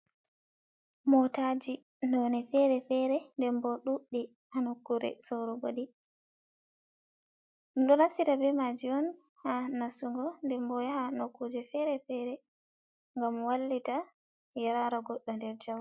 Motaji noni fere fere den bo ɗuɗɗi ha nokure sorugo ɗi ɗum ɗo naftira be maji on ha nasugo den bo yaha nokkuje fere-fere gam wallita yara goɗɗo nder jawal.